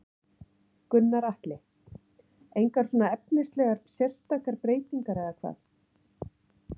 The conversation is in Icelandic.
Gunnar Atli: Engar svona efnislegar sérstakar breytingar eða hvað?